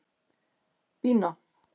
Bína